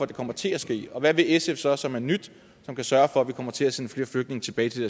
det kommer til at ske og hvad vil sf så som er nyt som kan sørge for at vi kommer til at sende flere flygtninge tilbage til